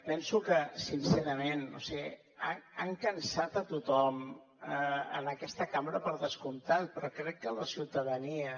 penso que sincerament no ho sé han cansat a tothom a aquesta cambra per descomptat però crec que a la ciutadania